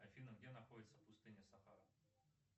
афина где находится пустыня сахара